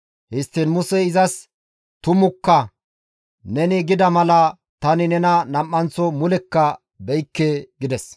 Histtiin Musey izas, «Tumukka; neni gida mala tani nena nam7anththo mulekka beykke» gides.